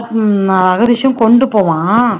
உம் ஆகதீஷும் கொண்டு போவான்